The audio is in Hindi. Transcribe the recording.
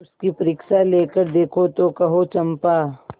उसकी परीक्षा लेकर देखो तो कहो चंपा